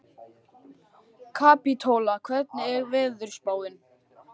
Kapítóla, hvernig er veðurspáin?